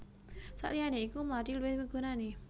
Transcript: Saliyané iku mlathi luwih migunani